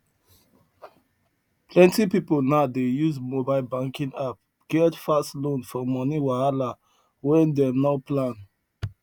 plenty people now dey use mobile banking app get fast loan for money wahala wey dem no plan